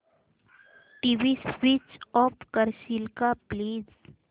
TV switch off करशील का please